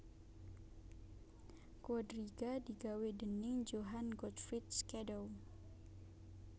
Quadriga digawé déning Johann Gottfried Schadow